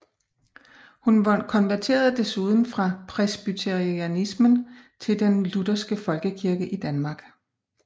Hun konverterede desuden fra presbyteranismen til den lutherske folkekirke i Danmark